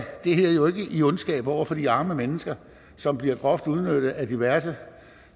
det her jo i ondskab over for de arme mennesker som bliver groft udnyttet af diverse